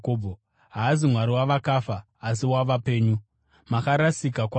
Haazi Mwari wavakafa, asi wavapenyu. Makarasika kwazvo!”